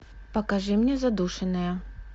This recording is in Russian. покажи мне задушенная